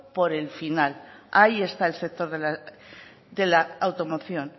por el final ahí está el sector de la automoción